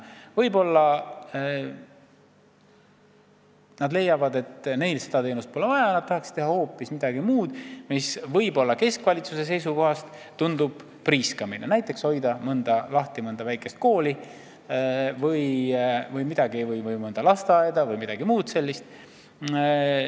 Võib-olla mõni leiab, et neil pole teatud teenust vaja, nad tahaksid teha hoopis midagi muud – isegi midagi sellist, mis võib keskvalitsuse seisukohast tunduda priiskamine, näiteks hoida lahti mõnda väikest kooli või lasteaeda jms.